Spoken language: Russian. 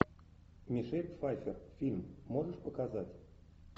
мишель пфайфер фильм можешь показать